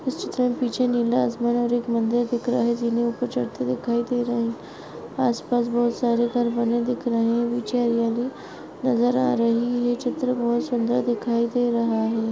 इस चित्र मे पीछे नीला आसमान और एक मंदिर दिख रहा है जीने ऊपर चढ़ते दिखाई दे रहे है आस पास बहुत घर बने दिख रहे है पीछे हरियाली नजर आ रही है चित्र बहुत सुंदर दिखाई दे रहा है।